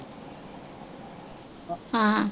ਹਾਂ